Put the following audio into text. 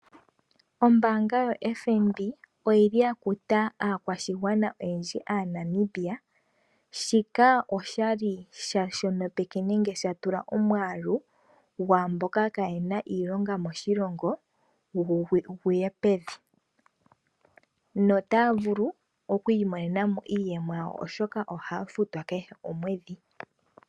Ombaanga yo FNB oyi li ya kuta aakwashigwana oyendji aaNamibia. Shika osha li sha shonopeke nenge sha tula omwaalu gwaa mboka kaa yena iilonga moshilongo gu ye pevi. No taya vulu oku imonena mo iiyemo yawo oshoka ohaya futwa kehe komweedhi.